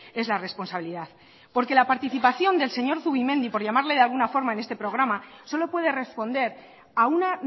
es la responsabilidad porque la participación del señor zubimendi por llamarle de alguna forma en este programa solo puede responder a una